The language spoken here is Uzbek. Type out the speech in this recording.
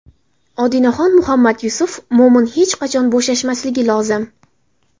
Odinaxon Muhammad Yusuf: Mo‘min hech qachon bo‘shashmasligi lozim.